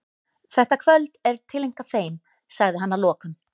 Þetta kvöld er tileinkað þeim, sagði hann að lokum.